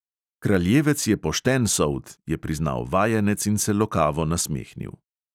"Kraljevec je pošten sold," je priznal vajenec in se lokavo nasmehnil.